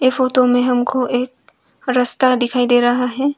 Photo में हमको एक रास्ता दिखाई दे रहा है।